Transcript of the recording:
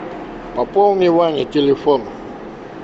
пополни маме телефон